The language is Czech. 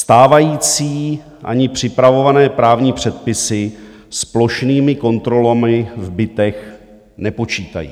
Stávající ani připravované právní předpisy s plošnými kontrolami v bytech nepočítají.